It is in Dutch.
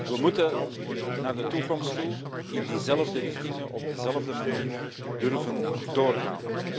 We moeten naar de toekomst toe in diezelfde richtingen op dezelfde manier durven doorgaan.